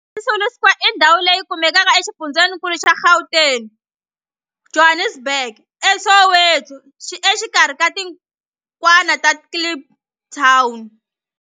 Walter Sisulu Square i ndhawu leyi kumekaka exifundzheninkulu xa Gauteng, Johannesburg, a Soweto, exikarhi ka xitikwana xa Kliptown.